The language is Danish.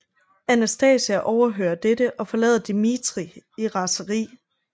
Anastasia overhører dette og forlader Dimitri i raseri